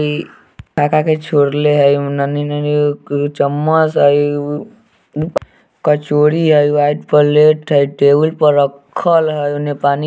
का-का के छोले है नन्हीं-नन्हीं चम्मच है कचोरी है वाइट प्लेट है टेबल पर रखल है उन्ने पानी के बोतल है।